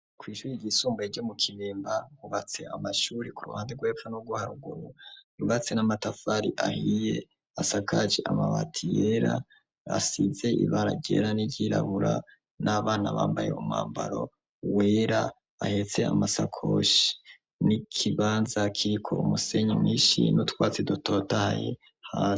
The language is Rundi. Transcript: Kwishuri ryisumbaye ryo mu Kibemba hubatse amashuri ku ruhande rwepfo nurwo haruguru hubatse n'amatafari ahiye asakaje amabati yera asize ibara ryera n'iryirabura n'abana bambaye umwambaro wera bahetse amasakoshi n'ikibanza kiriko umusenyi mwishi n'utwatsi dutotahaye hasi.